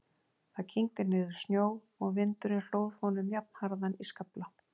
Það kyngdi niður snjó og vindurinn hlóð honum jafnharðan í skafla.